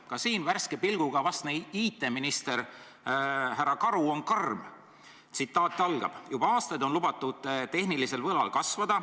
Ka siin on värske pilguga vastne IT-minister härra Karu karm: "Juba aastaid on lubatud tehnilisel võlal kasvada.